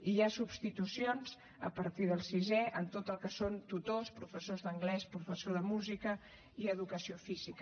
hi ha substitucions a partir del sisè en tot el que són tutors professors d’anglès professors de música i educació física